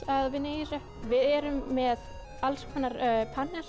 að vinna í þessu við erum með alls konar